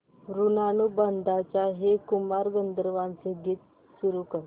ऋणानुबंधाच्या हे कुमार गंधर्वांचे गीत सुरू कर